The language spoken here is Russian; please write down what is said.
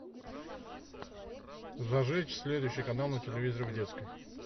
зажечь следующий канал на телевизоре в детской